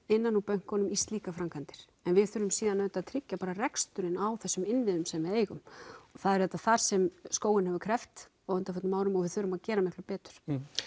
innan úr bönkunum í slíkar framkvæmdir en við þurfum svo auðvitað að tryggja bara reksturinn á þessum innviðum sem við eigum og það er þar sem skóginn hefur kreppt á undanförnum árum og við þurfum að gera miklu betur